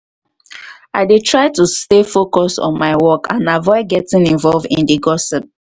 i dey try to stay focused on my work and avoid getting involve in di gossip.